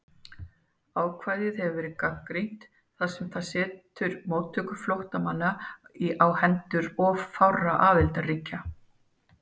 Ákvæðið hefur verið gagnrýnt þar sem það setur móttöku flóttamanna á hendur of fárra aðildarríkja.